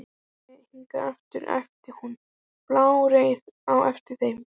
Komið þið hingað aftur! æpti hún bálreið á eftir þeim.